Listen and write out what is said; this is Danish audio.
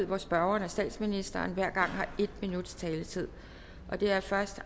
hvor spørgeren og statsministeren hver gang har en minuts taletid det er først